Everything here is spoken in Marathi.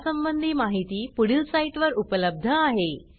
यासंबंधी माहिती पुढील साईटवर उपलब्ध आहे